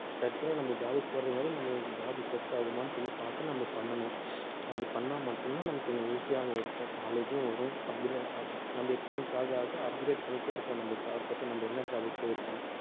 search பண்ணி நம்ம job க்கு போறதுக்கு முன்னாடி நம்ம இந்த job set ஆகுமான்னு சொல்லி பார்த்து, நம்ம பண்ணணும் அது பண்ணா மட்டும்தான் நமக்கு கொஞ்சம் easy ஆவும் இருக்கும் knowledge உம் வரும் upgra~ நம்ம experience ஆக ஆக upgrade பண்ணிட்டே இருப்போம் நம்ம job பத்தி நம்ம என்ன job க்கு போயிருக்கோம்